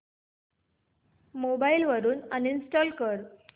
mobile वरून uninstall कर